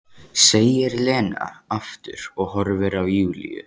segir Lena aftur og horfir á Júlíu.